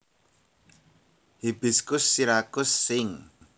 Hibiscus syriacus syn